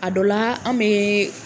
A dɔ la an bɛ.